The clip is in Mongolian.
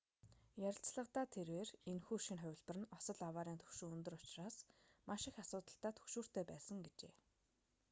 ярилцлагадаа тэрбээр энэхүү шинэ хувилбар нь осол аваарын түвшин өндөр учраас маш их асуудалтай түгшүүртэй байсан гэжээ